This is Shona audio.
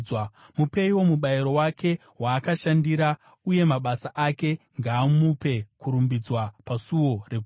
Mupeiwo mubayiro wake waakashandira, uye mabasa ake ngaamupe kurumbidzwa pasuo reguta.